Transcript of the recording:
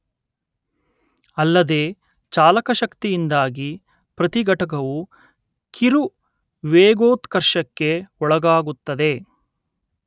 ಅಲ್ಲದೇ ಚಾಲಕ ಶಕ್ತಿಯಿಂದಾಗಿ ಪ್ರತಿ ಘಟಕವು ಕಿರು ವೇಗೋತ್ಕರ್ಷಕ್ಕೆ ಒಳಗಾಗುತ್ತದೆ